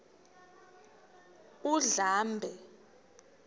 undlambe